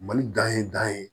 Mali dan ye dan ye